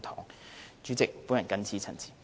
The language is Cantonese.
代理主席，我謹此陳辭。